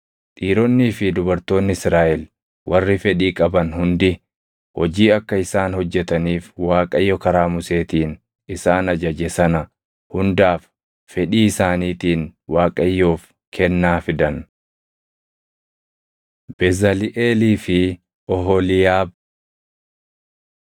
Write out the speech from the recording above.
Dhiironnii fi dubartoonni Israaʼel warri fedhii qaban hundi hojii akka isaan hojjetaniif Waaqayyo karaa Museetiin isaan ajaje sana hundaaf fedhii isaaniitiin Waaqayyoof kennaa fidan. Bezaliʼeelii fi Oholiiyaab 35:30‑35 kwf – Bau 31:2‑6